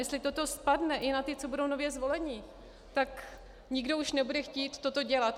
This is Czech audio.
Jestli toto spadne i na ty, co budou nově zvoleni, tak nikdo už nebude chtít toto dělat.